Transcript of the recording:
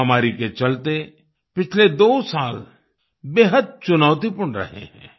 महामारी के चलते पिछले दो साल बेहद चुनौतीपूर्ण रहे हैं